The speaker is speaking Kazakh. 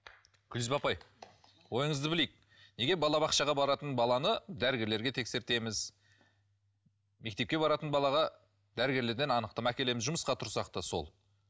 гүлсім апай ойыңызды білейік неге балабақшаға баратын баланы дәрігерлерге тексертеміз мектепке баратын балаға дәрігерлерден анықтама әкелеміз жұмысқа тұрсақ та сол